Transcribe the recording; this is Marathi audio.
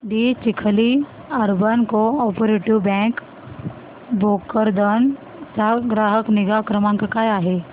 दि Chikhli urban cooperative bank Bhokardan चा ग्राहक निगा क्रमांक काय आहे